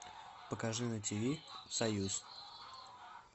покажи на ти ви союз